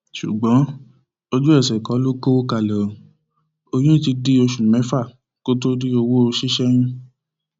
ṣùgbọn ojú ẹsẹ kọ lo kọwọ kalẹ ó oyún ti di oṣù mẹfà kó tóó rí owó ṣíṣẹyún